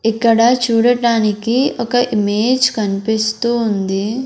ఇక్కడ చూడటానికి ఒక ఇమేజ్ కనిపిస్తూ ఉంది.